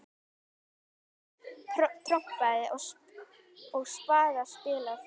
Hjarta trompað og spaða spilað.